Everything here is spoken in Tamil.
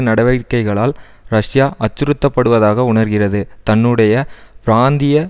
நடவடிக்கைகளால் ரஷ்யா அச்சுறுத்தப்படுவதாக உணர்கிறது தன்னுடைய பிராந்திய